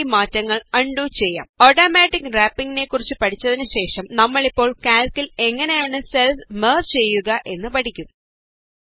നമുക്ക് ഈ മാറ്റങ്ങള് ആണ്ഡു ചെയ്യാം ഓട്ടോമാറ്റിക് വ്രാപ്പിംഗ്നെ കുറിച്ച് പഠിച്ചതിന് ശേഷം നമ്മള് ഇപ്പോള് കാല്ക്കില് എങ്ങനെയാണ് സെല്സ് മെര്ജ് ചെയ്യുക എന്ന് പഠിക്കും